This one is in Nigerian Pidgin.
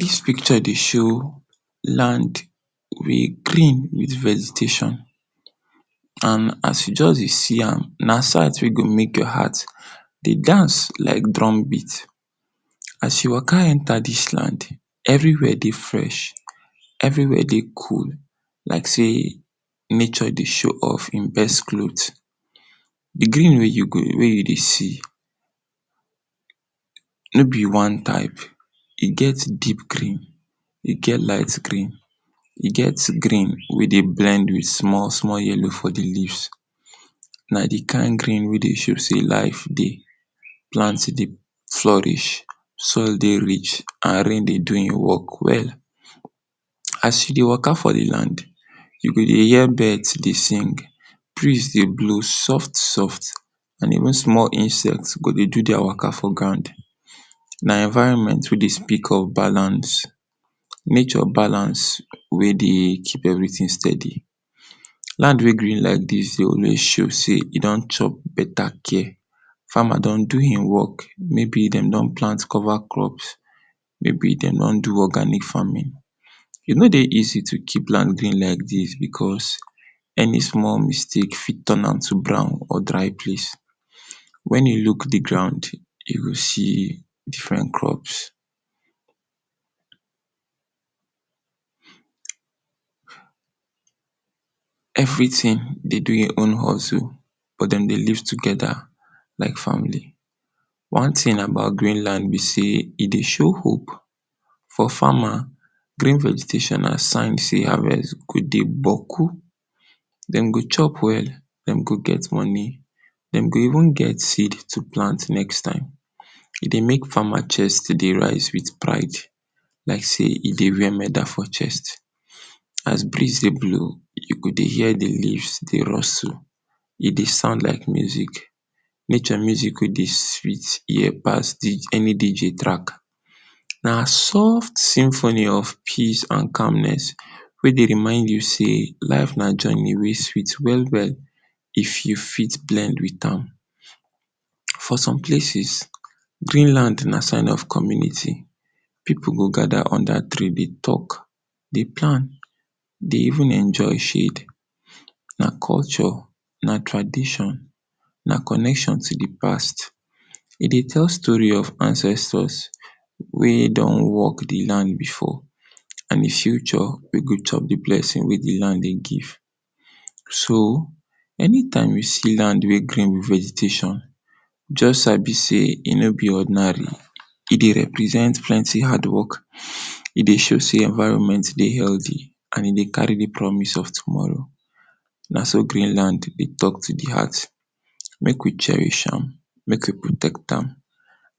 Dis pikcho dey show land wey green with vegetation, and as you just dey see am, na site wey go make your heart dey dance like drum beat. As you waka enta dis land, everi where dey fresh, everi where dey cool like sey nature dey show off im best clot. Di green wey you dey see, no be one type, e get deep green, e get light green, e get green wey blend with small-small yellow for di leaves. Na di kind green wey dey show sey life dey, plant dey flourish, soil dey rich and rain dey do im work well. As you dey waka for di land, you go dey hear bird dey sing, briz dey blow soft-soft and e dey blow small insect go dey do dia waka from ground. Na environment wey dey speak of balance, nature balance wey dey keep everi tin stedi. Land wey dey green like dis, e don chop beta care, fama don do im work, may be dem don plant cova crop, may be dem don do organic famin. E no dey easy to keep ground green like dis becos, eni small mistake fit ton am to dry brown or dry place. Wen you luk di ground, you go see diferent crops, everi tin dey di im own hozu but dem dey live togeda like family. One tin about green land be sey, e dey show hook for fama, green vegetashon na sign sey havest go dey gboku. Dem go chop well, dem go get moni, dem go even get seed to plant next time, e dey make fama chest to rise with pride like sey e dey where meda for chest. As briz dey blow, you go hear di leaves dey…………? E dey sound like muzik,……………? Pass sweet eni DJ track. Na soft symphony of peace and calmness wey dey remind you sey, life na joni wey sweet well-well if you fit blend with am. For som places, green land na sign of community, pipu go gada unda tree, dey talk, dey plan, dey evn enjoy shade. Na kolcho, na tradishon, na conection to di pass. E dey tell story of ancestors wey don work di land before. And future wey go top di blessing wey di land dey give. So, enitime you see land wey green with vegetashon, just sabi sey, e no be ordinary, e represent plenty hardwork, e dey show sey environment dey heldy and e dey kari di promis of tomoro. Na so green land dey talk to di heart. Make we cherish am, make we protect am